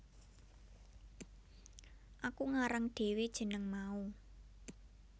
Aku ngarang dhewe jeneng mau